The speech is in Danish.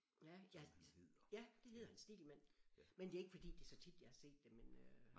Ja ja ja det hedder han Stegelmann men det er ikke fordi det er så tit jeg har set det men øh